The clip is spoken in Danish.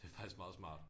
Det er faktisk meget smart